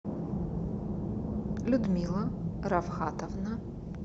людмила равхатовна